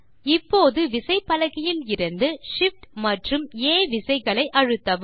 இப்போது விசைப்பலகையிலிருந்து SHIFT மற்றும் ஆ விசைகளை அழுத்தவும்